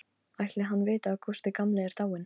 Ætli hann viti að Gústi gamli er dáinn?